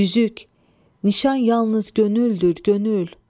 Üzük, nişan yalnız könüldür, könül.